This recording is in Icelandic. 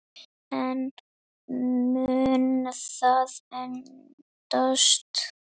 En mun það endast?